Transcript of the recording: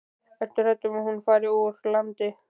Ertu hrædd um að hún fari úr landi?